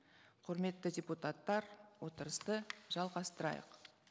құрметті депутаттар отырысты жалғастырайық